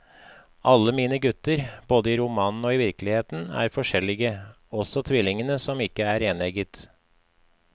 Alle mine gutter, både i romanene og virkeligheten, er forskjellige, også tvillingene, som ikke er enegget.